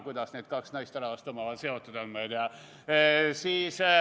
Kuidas need kaks naisterahvast omavahel seotud on, ma ei tea.